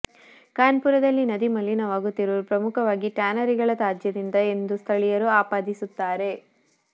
ಕಾನ್ಪುರದಲ್ಲಿ ನದಿ ಮಲಿನವಾಗುತ್ತಿರುವುದು ಪ್ರಮುಖವಾಗಿ ಟ್ಯಾನರಿಗಳ ತ್ಯಾಜ್ಯದಿಂದ ಎಂದು ಸ್ಥಳೀಯರು ಆಪಾದಿಸುತ್ತಾರೆ